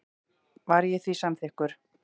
Var ég því samþykkur.